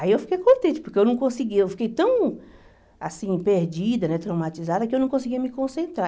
Aí eu fiquei contente, porque eu não conseguia, eu fiquei tão assim, perdida, né traumatizada, que eu não conseguia me concentrar.